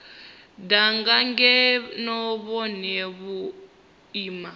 danga ngeno vhone vho ima